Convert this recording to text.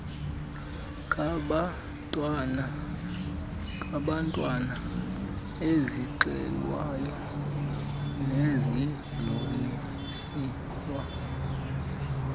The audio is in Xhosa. kabantwana ezixelwayo nezidluliselwa